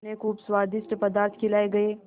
उन्हें खूब स्वादिष्ट पदार्थ खिलाये गये